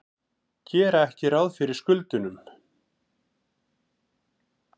Gera ekki ráð fyrir skuldunum